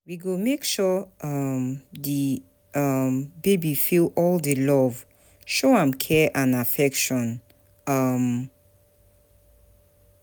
We go make sure um di um baby feel all di love, show am care and affection. um